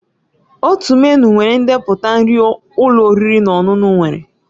Otu menịu nwere ndepụta nri ụlọ oriri na ọṅụṅụ nwere